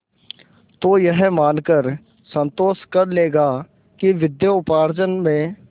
तो यह मानकर संतोष कर लेगा कि विद्योपार्जन में